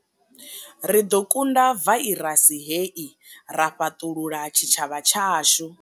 Ri ḓo kunda vairasi hei ra fhaṱulula tshitshavha tshashu.